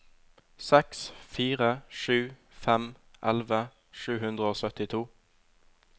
seks fire sju fem elleve sju hundre og syttito